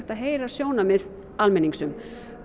að heyra sjónarmið almennings um